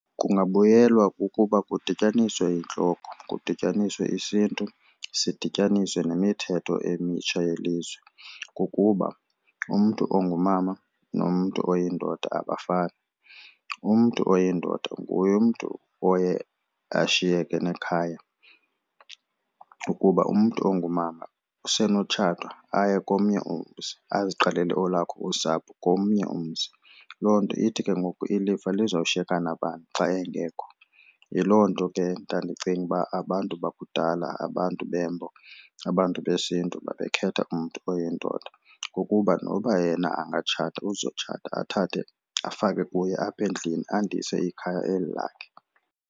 Kungabuyelwa kukuba kudityaniswe intloko, kudityaniswe isiNtu sidityaniswe nemithetho emitsha yelizwe kukuba umntu ongumama nomntu oyindoda abafani. Umntu oyindoda nguye umntu oye ashiyeke nekhaya kuba umntu ongumama usenotshata aye komnye umzi aziqalele olwakhe usapho komnye umzi. Loo nto ithi ke ngoku ilifa lizawushiyeka nabani xa engekho. Yiloo nto ke ndandicinga uba abantu bakudala abantu beMbo abantu besiNtu babekhetha umntu oyindoda kukuba noba yena angatshata uzotshata athathe afake kuye apha endlini andise ikhaya eli lakhe.